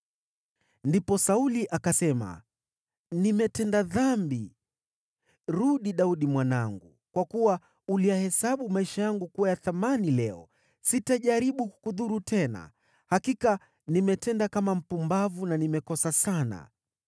Ndipo Sauli akasema, “Nimetenda dhambi. Rudi, Daudi mwanangu. Kwa kuwa uliyahesabu maisha yangu kuwa ya thamani leo, sitajaribu kukudhuru tena. Hakika nimetenda kama mpumbavu na nimekosa sana.”